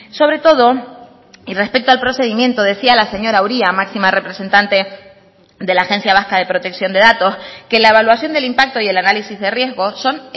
sobre todo y respecto al procedimiento decía la señora uria máxima representante de la agencia vasca de protección de datos que la evaluación del impacto y el análisis de riesgos son